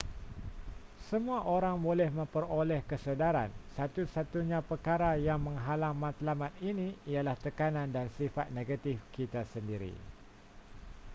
semua orang boleh memperoleh kesedaran satu-satunya perkara yang menghalang matlamat ini ialah tekanan dan sifat negatif kita sendiri